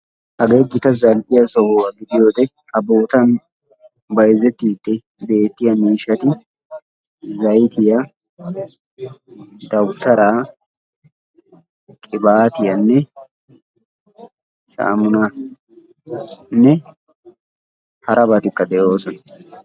Hagee gita zal"iya sohuwa gidiyo wode ha bootan bayzzettiide beetiya miishshati zaytiya, dawutaraa, qibbatiyanne sammunnanne harabatikka de'oosona.